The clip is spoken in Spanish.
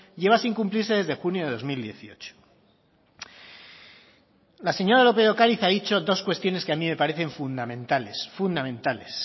lleva sin cumplirse desde junio de dos mil dieciocho la señora lópez de ocariz ha dicho dos cuestiones que a mí me parecen fundamentales fundamentales